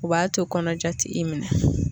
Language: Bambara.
o b'a to kɔnɔja t'i minɛ